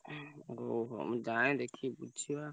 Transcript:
ଓହୋ ମୁଁ ଯାଏ ଦେଖିକି ବୁଝିଆ।